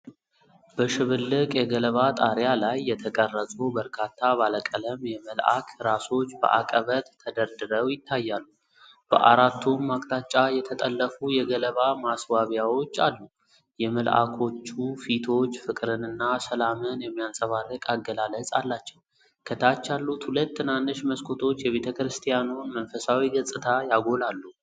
በሽብልቅ የገለባ ጣሪያ ላይ የተቀረጹ በርካታ ባለቀለም የመልአክ ራሶች በአቀበት ተደርድረው ይታያሉ። በአራቱም አቅጣጫ የተጠለፉ የገለባ ማስዋቢያዎች አሉ። የመልአኮቹ ፊቶች ፍቅርንና ሰላምን የሚያንጸባርቅ አገላለጽ አላቸው። ከታች ያሉት ሁለት ትናንሽ መስኮቶች የቤተ ክርስቲያኑን መንፈሳዊ ገጽታ ያጎላሉ።